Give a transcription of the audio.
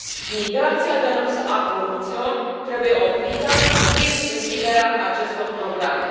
Migrația de lux a corupților trebuie oprită prin închiderea acestor programe.